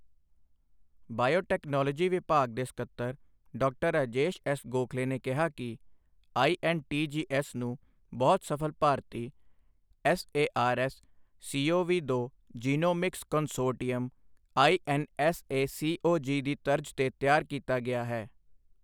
Biotechnology ਵਿਭਾਗ ਦੇ ਸੱਕਤਰ ਡਾਕਟਰ ਰਾਜੇਸ਼ ਐੱਸ ਗੋਖਲੇ ਨੇ ਕਿਹਾ ਕਿ ਆਈਐੱਨਟੀਜੀਐੱਸ ਨੂੰ ਬਹੁਤ ਸਫ਼ਲ ਭਾਰਤੀ ਐੱਸਏਆਰਐੱਸ ਸੀਓਵੀ ਦੋ ਜੀਨੋਮਿਕਸ ਕੰਸੋਰਟੀਅਮ ਆਈਐੱਨਐੱਸਏਸੀਓਜੀ ਦੀ ਤਰਜ਼ ਤੇ ਤਿਆਰ ਕੀਤਾ ਗਿਆ ਹੈ।